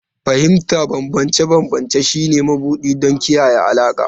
Fahimtar bambance-bambance shine mabuɗi don kiyaye alaƙa.